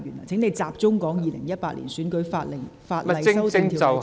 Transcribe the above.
請你集中討論《2018年選舉法例條例草案》的內容。